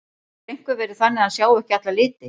Getur einhver verið þannig að hann sjái ekki alla liti?